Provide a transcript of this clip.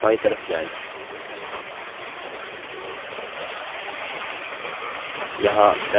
यहाँ member name colon type करें